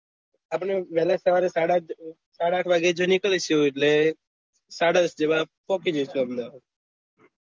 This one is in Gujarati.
આપને વેહલા સવારે સાડા આઠ સાડા આઠ જો નીકળીશું એટલે સાડા દસ જેવા પોહચી જઈશું અહેમદાબાદ